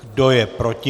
Kdo je proti?